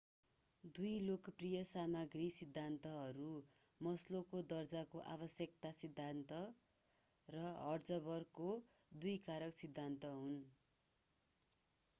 दुई लोकप्रिय सामाग्री सिद्धान्तहरू मास्लोको दर्जाको आवश्यकता सिद्धान्त र हर्ट्जबर्गको दुई कारक सिद्धान्त हुन्